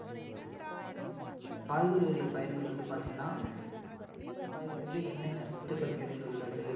அப்படின்னு வந்து நம்ம பாப்போம். இந்த காய்கறிகள் பயன்கள் வந்து பார்த்திங்கன்னா அஹ் என்னென்ன காய்கறிகளில என்னென்ன சத்துக்கள் நிறைந்துள்ளது